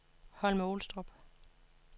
Holme-Olstrup